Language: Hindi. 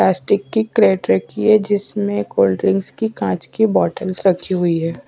प्लास्टिक की क्रेट रखी है जिसमें कोल्ड ड्रिंक्स की कांच की बॉटल्स रखी हुई है।